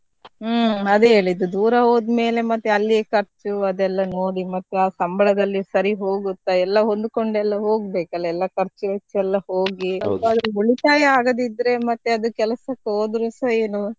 ಹ್ಮ್‌ ಅದೇ ಹೇಳಿದ್ದು ದೂರ ಹೋದ್ಮೇಲೆ ಮತ್ತೆ ಅಲ್ಲಿಯ ಖರ್ಚು ಅದೆಲ್ಲ ನೋಡಿ ಮತ್ತೆ ಆ ಸಂಬಳದಲ್ಲಿ ಸರಿ ಹೋಗುತ್ತಾ ಎಲ್ಲಾ ಹೊಂದುಕೊಂಡೆಲ್ಲ ಹೋಗ್ಬೇಕಲ್ಲ ಎಲ್ಲ ಖರ್ಚು ವೆಚ್ಚ ಎಲ್ಲ ಹೋಗಿ ಎಂತಾದ್ರು ಉಳಿತಾಯ ಆಗದಿದ್ರೆ ಮತ್ತೆ ಅದು ಕೆಲಸಕ್ಕೆ ಹೋದ್ರುಸ ಏನು.